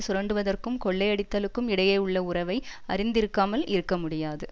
சுரண்டுவதற்கும் கொள்ளையடித்தலுக்கும் இடையேயுள்ள உறவை அறிந்திருக்காமல் இருக்க முடியாது